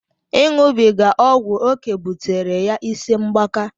Iṅụbiga ọgwụ oké butere ya ịsị mgbaka.